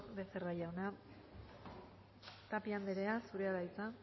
becerra jauna tapia anderea zurea da hitza